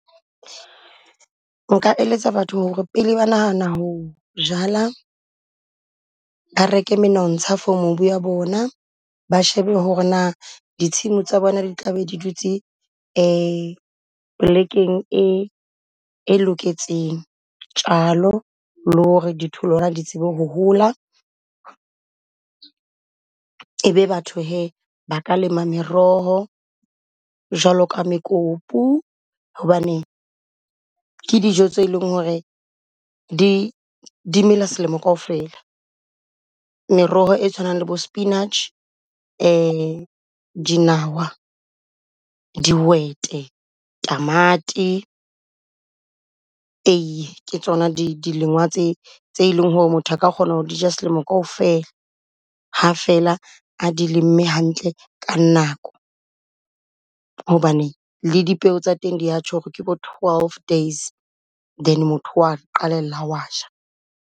Nka eletsa batho ho re pele ba nahana ho jala ba reke monontsha for mobu ya bona. Ba shebe ho re na ditshimo tsa bona di tla be di dutse polekeng e e loketseng tjalo, le ho re di tholwana di tsebe ho hola. E be batho hee ba ka lema meroho jwalo ka mekopu hobane ke dijo tse leng ho re di di mela selemo kaofela. Meroho e tshwanang le bo spinach, dinawa, dihwete, tamati, eiye ke tsona di dilengwa tse tse e leng ho re motho a ka kgona ho di ja selemo kaofela. Ha fela a di lemme hantle ka nako. Hobane le dipeo tsa teng di ya tjho ho re ke bo twelve days, then motho wa qalella o wa ja.